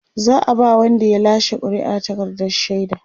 za'a ba Wanda ya lashe ƙuri'ar takardar shaida